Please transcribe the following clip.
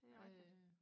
det er rigtigt